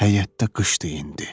Həyətdə qışdı indi.